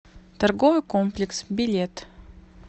торговый комплекс билет